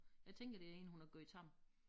Jeg tænker det én hun har gjort tam